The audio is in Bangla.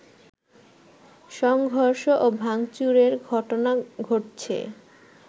সংঘর্ষ ও ভাংচুরের ঘটনা ঘটছে